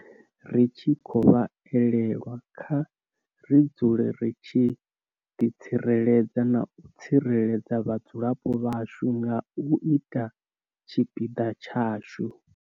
Ri tshi khou vha elelwa, kha ri dzule ri tshi ḓitsireledza na u tsireledza vhadzulapo vhashu nga u ita tshipiḓa tshashu.